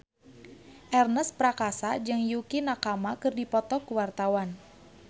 Ernest Prakasa jeung Yukie Nakama keur dipoto ku wartawan